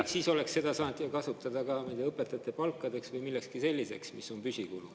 Aga siis oleks seda saanud kasutada ka, ma ei tea, õpetajate palkadeks või millekski selliseks, mis on püsikulu.